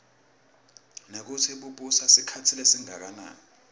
nekutsi bubusa sikhatsi lesidze kangakanani